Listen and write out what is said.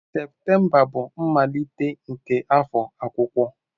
Septemba bụ mmalite nke afọ akwụkwọ.